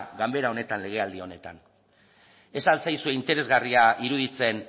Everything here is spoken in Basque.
ganbara honetan legealdi honetan ez al zaizue interesgarria iruditzen